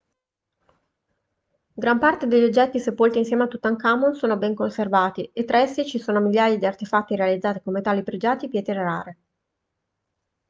gran parte degli oggetti sepolti insieme a tutankhamon sono ben conservati e tra essi ci sono migliaia di artefatti realizzati con metalli pregiati e pietre rare